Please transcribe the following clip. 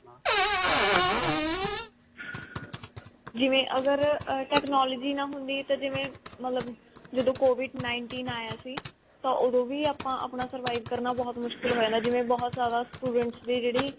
ਜਿਵੇਂ ਅਗਰ ਅਮ technology ਨਾ ਹੁੰਦੀ ਤਾਂ ਜਿਵੇਂ ਮਤਲਬ ਜਦੋਂ covid nineteen ਆਇਆ ਸੀ ਤਾਂ ਓਦੋਂ ਵੀ ਆਪਾਂ ਆਪਣਾ survive ਕਰਨਾ ਬਹੁਤ ਮੁਸ਼ਕਿਲ ਹੋਇਗਾ ਜਿਵੇਂ ਬਹੁਤ ਜ਼ਿਆਦਾ students ਵੀ ਜਿਹੜੀ